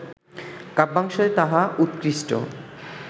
কাব্যাংশে তাহা উৎকৃষ্ট